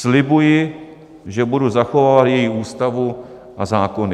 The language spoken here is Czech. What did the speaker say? Slibuji, že budu zachovávat její Ústavu a zákony.